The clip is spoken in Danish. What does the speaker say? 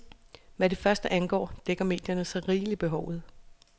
Hvad det første angår, dækker medierne så rigeligt behovet.